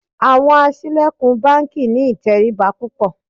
Àwọn aṣílẹ̀kùn báńkì ní ìtẹríba púpọ̀.